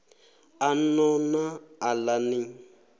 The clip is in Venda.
a no na aḽa ni